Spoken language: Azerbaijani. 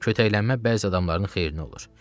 Kötəklənmə bəzi adamların xeyrinə olur.